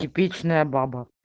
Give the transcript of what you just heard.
типичная баба